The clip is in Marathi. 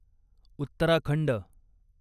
उत्तराखंड